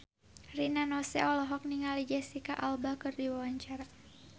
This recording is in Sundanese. Rina Nose olohok ningali Jesicca Alba keur diwawancara